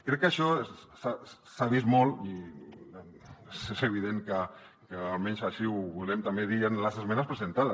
crec que això s’ha vist molt i és evident almenys així ho volem també dir en les esmenes presentades